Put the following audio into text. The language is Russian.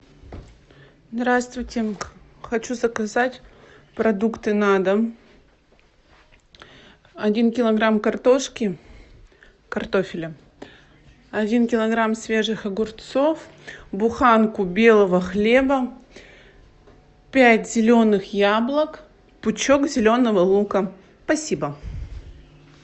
здравствуйте хочу заказать продукты на дом один килограмм картошки картофеля один килограмм свежих огурцов буханку белого хлеба пять зеленых яблок пучок зеленого лука спасибо